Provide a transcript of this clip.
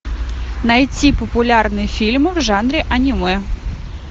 найти популярный фильм в жанре аниме